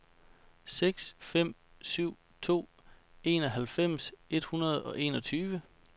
seks fem syv to enoghalvfems et hundrede og enogtyve